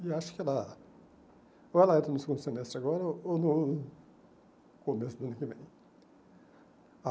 E acho que ela ou ela entra no segundo semestre agora ou no começo do ano que vem.